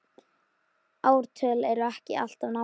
Ártöl eru ekki alltaf nákvæm